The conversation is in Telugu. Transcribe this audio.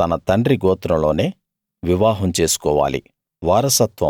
తన తండ్రి గోత్రంలోనే వివాహం చేసుకోవాలి